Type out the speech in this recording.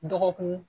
Dɔgɔkun